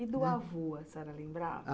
E do avô a senhora lembrava?